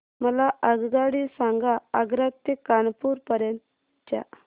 मला आगगाडी सांगा आग्रा ते कानपुर पर्यंत च्या